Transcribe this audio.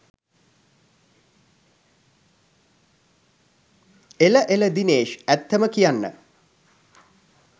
එල එල දිනේශ්! ඇත්තම කියන්න